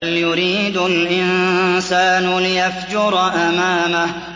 بَلْ يُرِيدُ الْإِنسَانُ لِيَفْجُرَ أَمَامَهُ